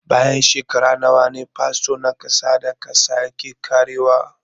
Bayan shekaru nawa ne fasfo na ƙasa da ƙasa yake ƙarewa?